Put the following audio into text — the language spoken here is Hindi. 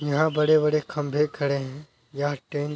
यहाँ बड़े-बड़े खम्बे खड़े हैं यहाँ टेंट --